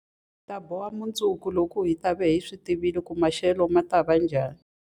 Hi ta boha mundzuku, loko hi ta va hi tivile leswaku maxelo ma ta va njhani.